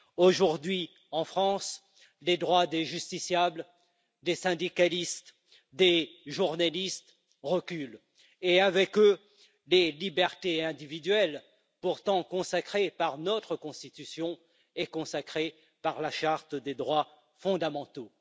Aujourd'hui, en France, les droits des justiciables, des syndicalistes et des journalistes reculent, et avec eux les libertés individuelles pourtant consacrées par notre Constitution et par la charte des droits fondamentaux.